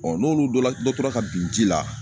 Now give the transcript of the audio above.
Ɔ n'olu dɔla dɔ tora ka bin ji la